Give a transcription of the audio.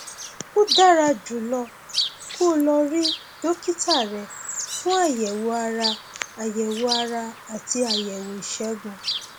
ó dára jùlọ kó o lọ rí dókítà rẹ fún àyẹwò ara àyẹwò ara àti àyẹwò ìṣègùn